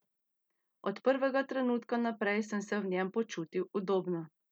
Od prvega trenutka naprej sem se v njem počutil udobno.